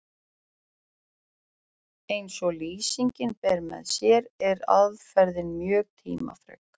Eins og lýsingin ber með sér er aðferðin mjög tímafrek.